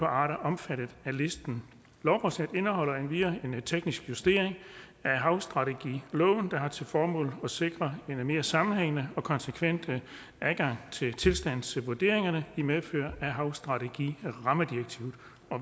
arter omfattet af listen lovforslaget indeholder endvidere en teknisk justering af havstrategiloven der har til formål at sikre en mere sammenhængende og konsekvent adgang til tilstandsvurderingerne i medfør af havstrategirammedirektivet